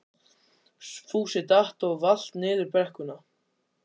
Fúsi datt og valt niður brekkuna.